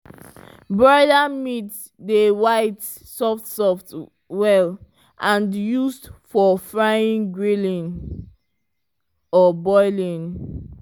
broiler meat dey white soft soft well and used for frying grilling or boiling.